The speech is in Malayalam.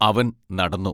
അവൻ നടന്നു.